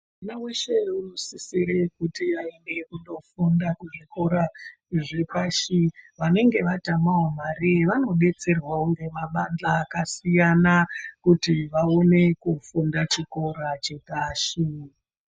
Mwana wese unosisira kuti aende kunofunda kuzvikora zvepashi vanenge vatamawo mare vanobetserwawo nemabadhla akasiyana kuti vaone kufunda chikora chepashi.